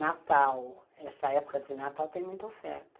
Natal, essa época de Natal tem muita oferta.